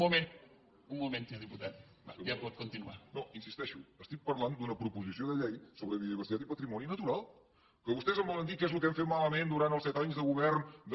no hi insisteixo estic parlant d’una proposició de llei sobre biodiversitat i patrimoni natural que vostès em volen dir què és el que hem fet malament durant els set anys de govern de